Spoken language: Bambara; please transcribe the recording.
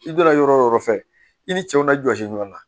I donna yɔrɔ o yɔrɔ fɛ i ni cɛw na jɔsi ɲɔan na